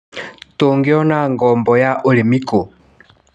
Tũngĩona ngobo ya ũrĩmi kũ.